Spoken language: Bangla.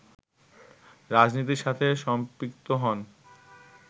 রাজনীতির সাথে সম্পৃক্ত হন